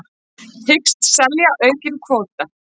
Hyggst selja aukinn kvóta